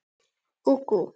Guð geymi Sigþór.